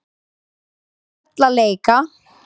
Við fórum öll að leika.